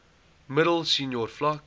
middel senior vlak